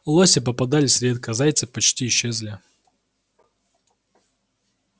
лоси попадались редко зайцы почти исчезли